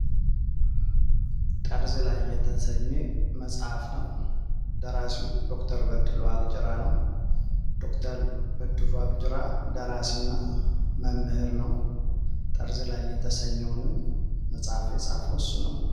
ጠርዝ ላይ የተሰኜ መጽሐፍ ነው። ደራሲው ዶ/ር በድሉ አግጅራ ነው። ዶ/ር በድሉ አግጅራ ደራሲ እና መምህር ነው። ጠርዝ ላይ የተሰኘውንም መጽሐፍ የጻሐፍ እሱ ነው።